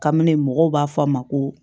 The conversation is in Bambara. Kabini mɔgɔw b'a fɔ a ma ko